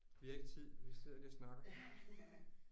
Vi har ikke tid vi sidder lige og snakker